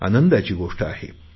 आनंदाची गोष्ट आहे